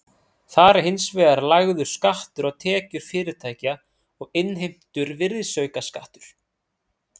Þar er hins vegar lagður skattur á tekjur fyrirtækja og innheimtur virðisaukaskattur.